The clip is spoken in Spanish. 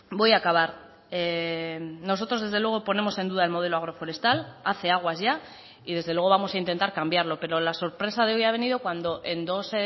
voy a acabar nosotros desde luego ponemos en duda el modelo agroforestal hace aguas ya y desde luego vamos a intentar cambiarlo pero la sorpresa de hoy ha venido cuando en dos